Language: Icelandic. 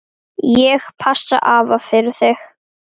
Ég passa afa fyrir þig.